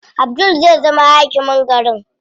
Abdul zai zama hakimin garin.